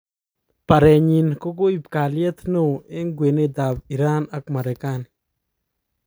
Barenyin kokoib kalyet neo eng kwenetab Iran ak Merekani.